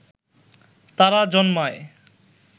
তারা জন্মায়